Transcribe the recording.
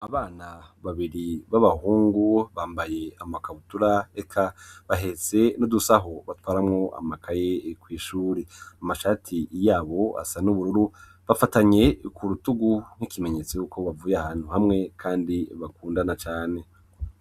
Abana babiri b'abahungu bambaye amakabutura eka bahetse n'udusaho batwaramwo amakaye kw'ishure, amashati yabo asa n'ubururu, bafatanye ku rutugu nk'ikimenyetso yuko bavuye ahantu hamwe kandi bakundana cane.